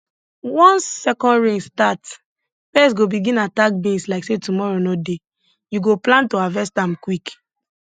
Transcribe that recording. once second rain start pests go begin attack beans like say tomorrow no dey you go plan to harvest am quick